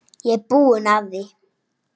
Ég er búinn að því.